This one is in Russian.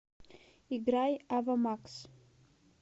играй ава макс